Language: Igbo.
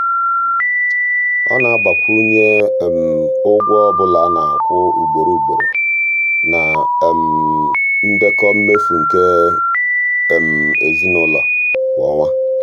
ọ na-agbakwunye ụgwọ ọbụla a na-akwụ ugboro ugboro na um ndekọ mmefu nke um ezinụụlọ kwa ọnwa.